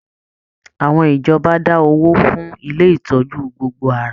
Àwọn ìjọba da owó fún ilé ìtọjú gbogbo ara.